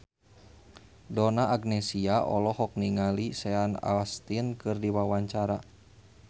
Donna Agnesia olohok ningali Sean Astin keur diwawancara